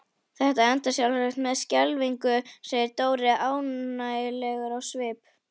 Þetta endar sjálfsagt með skelfingu segir Dóri ánægjulegur á svip.